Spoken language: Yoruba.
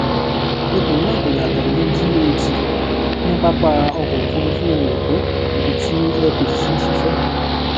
ipò náà kò yàtọ ní gat ní papa ọkọ òfurufú eko ibi tí air peace ti ń ṣiṣẹ